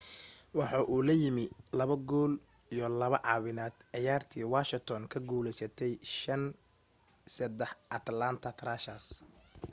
waxa uu la yimi 2 gool iyo 2 caawineed ciyaartii washington kaga guulaysatay5-3 atlanta thrashers